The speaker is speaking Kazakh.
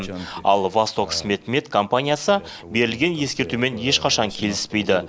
ал востокцветмет компаниясы берілген ескертумен ешқашан келіспейді